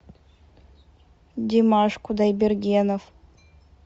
димаш кудайбергенов